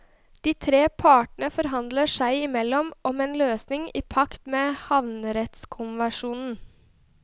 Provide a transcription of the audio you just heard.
De tre partene forhandler seg imellom om en løsning i pakt med havrettskonvensjonen.